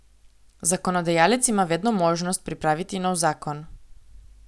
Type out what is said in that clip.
Zakonodajalec ima vedno možnost pripraviti nov zakon.